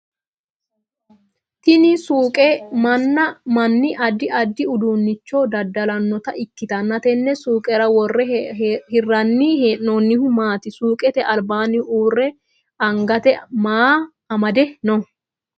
Tinni suuqe manni addi addi uduunicho dada'lanota ikitanna tenne suuqera wore hiranni hee'noonnihu maati? Suuqete albaanni uure angate maa amade no?